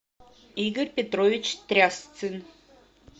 игорь петрович трясцин